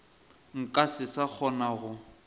nka se sa kgona go